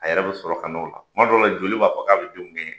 A yɛrɛ bɛ sɔrɔ ka n'o la tuma dɔ la joli b'a fɔ k'a bɛ denw kɛɲɛ